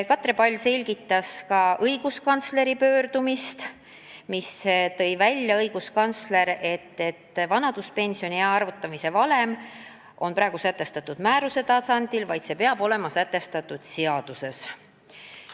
Katre Pall selgitas ka õiguskantsleri pöördumist, kus toodi välja, et vanaduspensioniea arvutamise valem on praegu sätestatud määruse tasandil, kuid see peab olema sätestatud seaduses.